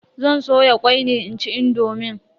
Zan soya kwai ne inci indomin.